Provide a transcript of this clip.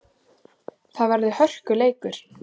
Það verður því hörkuleikur.